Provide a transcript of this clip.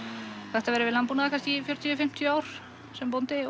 hægt að vera við landbúnað í fjörutíu til fimmtíu ár sem bóndi